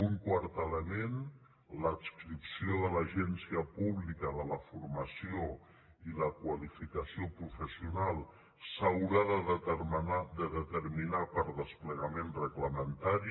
un quart element l’adscripció de l’agència pública de formació i qualificació professional s’haurà de determinar per desplegament reglamentari